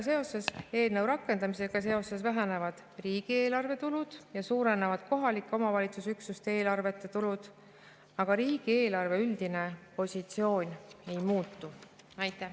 Eelnõu rakendamisega seoses vähenevad riigieelarve tulud ja suurenevad kohalike omavalitsusüksuste eelarvete tulud, aga riigieelarve üldine positsioon ei muutu.